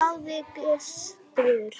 hváði Gizur.